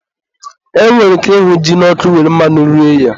E nwere ike ịhụ ji n'ọkụ were mmanụ rie ya